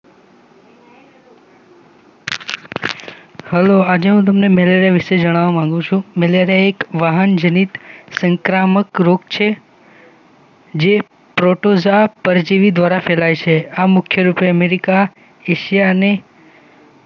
Hello આજે હું તમને મેલેરિયા વિશે જણાવવા માંગુ છું કે મેલેરિયા એક વહાનજનીત સંક્રામક રોગ જે પ્રોટોઝોઆ પરજીવી દ્વારા ફેલાય છે. આ મુખ્ય રૂપે અમેરિકા એશિયા અને